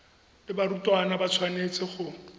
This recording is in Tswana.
le barutwana ba tshwanetse go